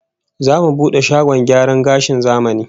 Zamu bude shagon gyaran gashin zamani